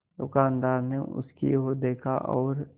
दुकानदार ने उसकी ओर देखा और